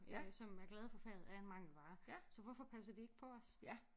Øh som er glade for faget er en mangelvare så hvorfor passer de ikke på os?